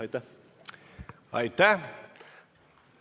Aitäh!